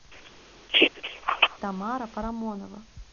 тамара парамонова